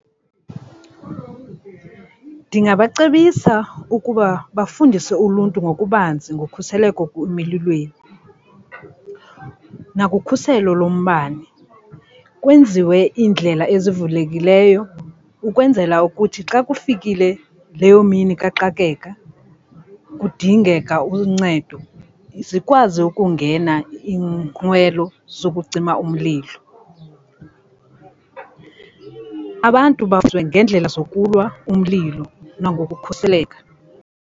Ndingabacebisa ukuba bafundise uluntu ngokubanzi ngokhuseleko emililweni nakukhusele lombane, kwenziwe iindlela ezivulekileyo ukwenzela ukuthi xa kufikile leyo mini kaxakeka kudingeka uncedo zikwazi ukungena iinqwelo zokucima umlilo. Abantu ngendlela zokulwa umlilo nangokukhuseleka.